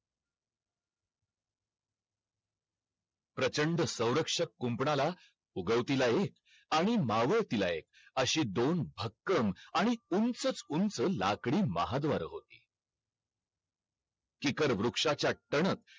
electri electronics चे ज्ञान हे सगळ सांगत असतात commerce मध्ये